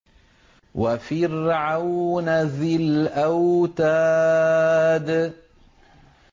وَفِرْعَوْنَ ذِي الْأَوْتَادِ